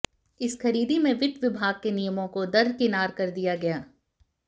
इस खरीदी में वित्त विभाग के नियमों को दरकिनार कर दिया गया